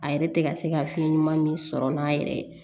A yɛrɛ tɛ ka se ka fiɲɛ ɲuman min sɔrɔ n'a yɛrɛ ye